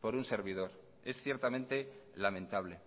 por un servidor es ciertamente lamentable